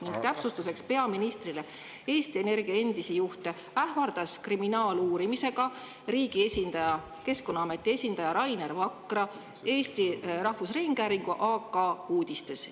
Ning täpsustuseks peaministrile: Eesti Energia endisi juhte ähvardas kriminaaluurimisega riigi esindaja, Keskkonnaameti esindaja Rainer Vakra Eesti Rahvusringhäälingu AK-uudistes.